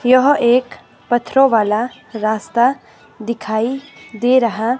यह एक पत्थरों वाला रास्ता दिखाई दे रहा--